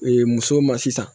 musow ma sisan